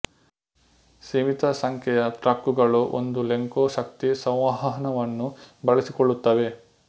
ಸೀಮಿತ ಸಂಖ್ಯೆಯ ಟ್ರಕ್ಕುಗಳು ಒಂದು ಲೆಂಕೊ ಶಕ್ತಿ ಸಂವಹನವನ್ನು ಬಳಸಿಕೊಳ್ಳುತ್ತವೆ